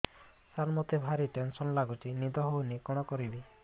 ସାର ମତେ ଭାରି ଟେନ୍ସନ୍ ଲାଗୁଚି ନିଦ ହଉନି କଣ କରିବି